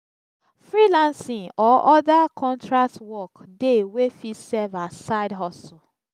freelancing or other contract work de wey fit serve as side hustle